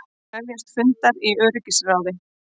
Krefjast fundar í öryggisráði